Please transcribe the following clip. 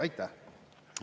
Aitäh!